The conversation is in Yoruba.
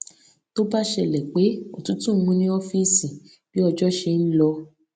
tó bá ṣẹlè pé òtútù mú ní ófíìsì bí ọjọ ṣe n lọ